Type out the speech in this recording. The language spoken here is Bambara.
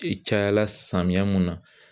cayala samiya mun na.